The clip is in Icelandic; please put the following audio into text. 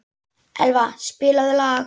Elva, spilaðu lag.